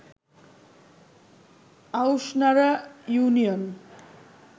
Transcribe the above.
Aushnara union